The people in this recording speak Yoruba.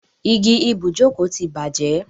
Igi ibùjókòó ti bàjẹ́.